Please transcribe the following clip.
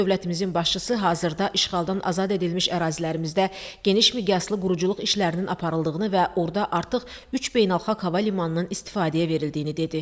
Dövlətimizin başçısı hazırda işğaldan azad edilmiş ərazilərimizdə geniş miqyaslı quruculuq işlərinin aparıldığını və orada artıq üç beynəlxalq hava limanının istifadəyə verildiyini dedi.